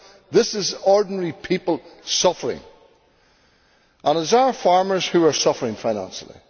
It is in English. This is ordinary people suffering, and it is our farmers who are suffering financially.